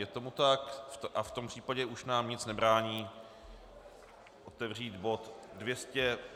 Je tomu tak a v tom případě už nám nic nebrání otevřít bod